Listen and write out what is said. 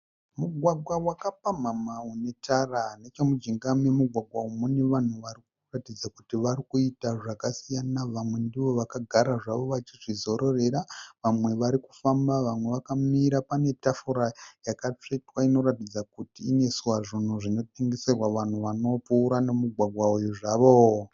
Mugwagwa wakapamhama une tara. Nechemujinga memugwagwa uyu mune vanhu vari kuratidza kuti vari kuita zvakasiyana. Vamwe ndivo vakagara zvavo vachizvizororera, vamwe vari kufamba, vamwe vakamira. Pane tafura yakapekwa inoratidza kuti inoiswa zvinhu zvinotengeserwa vanhu vanopfuura nomugwagwa uyu zvavo.